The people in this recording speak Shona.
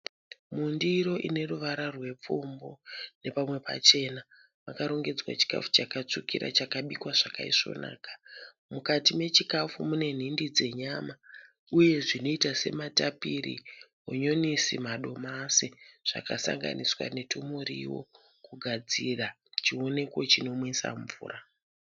Mundiro ine ruvara rwerupfumbu nepamwe pachena makarongedzwa chikafu chakatsvukira chakabikwa chakaisvonaka mukati mechikafu mune nhindi dzenyama uye zvinoita sematapiri, hanyanisi, madomasi zvakasanganiswa kugadzira chioneko chinonwisa mvura.